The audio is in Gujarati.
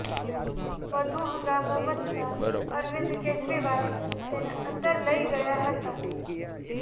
વધુ હંગામો મચતાં અરવિંદ કેજરીવાલ તેને અંદર લઇ ગયા હતા